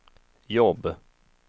jobb